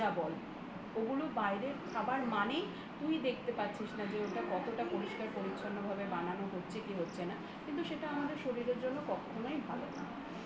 ভাজাই বল এটা বাইরের খাবার মানে? তুমি দেখতে পাচ্ছিস না ওটা কতটা পরিষ্কার পরিচ্ছন্ন ভাবে বানানো হচ্ছে কি হচ্ছে না এটা আমাদের শরীরের জন্য কখনোই ভালো না